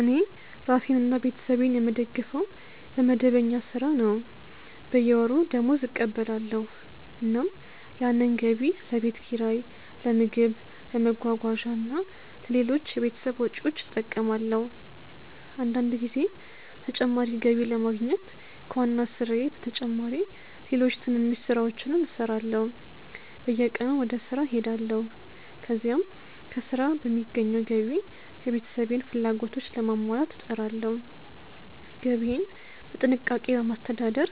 እኔ ራሴንና ቤተሰቤን የምደግፈው በመደበኛ ሥራ ነው። በየወሩ ደመወዝ እቀበላለሁ፣ እናም ያንን ገቢ ለቤት ኪራይ፣ ለምግብ፣ ለመጓጓዣ እና ለሌሎች የቤተሰብ ወጪዎች እጠቀማለሁ። አንዳንድ ጊዜ ተጨማሪ ገቢ ለማግኘት ከዋና ሥራዬ በተጨማሪ ሌሎች ትንንሽ ሥራዎችንም እሠራለሁ። በየቀኑ ወደ ሥራ እሄዳለሁ፣ ከዚያም ከሥራ በሚገኘው ገቢ የቤተሰቤን ፍላጎቶች ለማሟላት እጥራለሁ። ገቢዬን በጥንቃቄ በማስተዳደር